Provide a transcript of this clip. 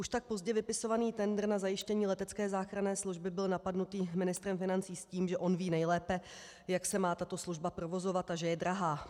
Už tak pozdě vypisovaný tendr na zajištění letecké záchranné služby byl napaden ministrem financí s tím, že on ví nejlépe, jak se má tato služba provozovat, a že je drahá.